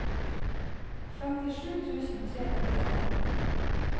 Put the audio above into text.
femtisju tusen tre hundre og atten